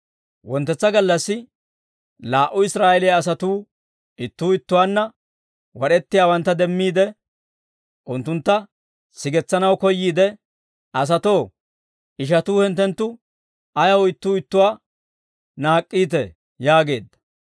«Wonttetsa gallassi laa"u Israa'eeliyaa asatuu ittuu ittuwaanna wad'ettiyaawantta demmiide, unttuntta sigetsanaw koyyiide, ‹Asatoo, ishatuu hinttenttu ayaw ittuu ittuwaa naak'k'iitee?› yaageedda.